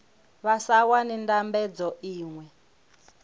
vha sa wani ndambedzo iṅwe